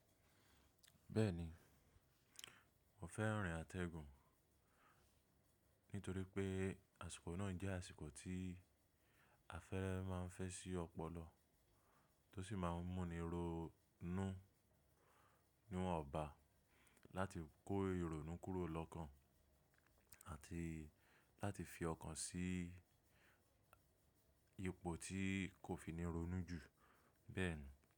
Bẹ́ẹ̀ni, mo fẹ́ rìn àtẹgùn nítorí pé àsìkò náà jẹ́ àsìkò tí afẹ́fẹ́ máa ń fẹ́ sí ọ̀pọ̀lọ́ tó sì máa ń múni ronú níwon ba láti kó ìrònú kúrò lọ́kan àti láti fi ọkàn sí ipò tí kò fi ní ronú jù bẹ́ẹ̀ni.